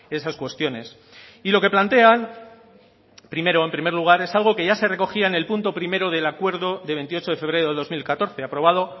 esas cuestiones y lo que plantean primero en primer lugar es algo que ya se recogía en el punto primero del acuerdo de veintiocho de febrero de dos mil catorce aprobado